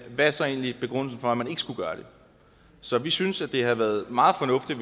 hvad er så egentlig begrundelsen for at man ikke skulle gøre det så vi synes det havde været meget fornuftigt